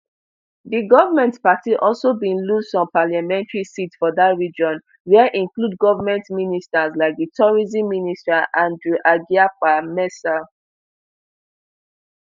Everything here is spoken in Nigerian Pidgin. di goment party also bin lose some parliamentary seats for dat region wia include goment ministers like di tourism minister andrew egyapa mercer